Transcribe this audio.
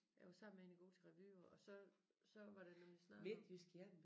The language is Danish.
Jeg var sammen med hende i går til revy og og så så var det nemlig snak om